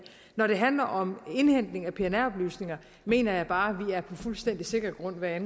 når det handler om indhentning af pnr oplysninger mener jeg bare vi er på fuldstændig sikker grund hvad